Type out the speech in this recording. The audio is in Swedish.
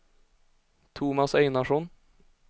Tomas Einarsson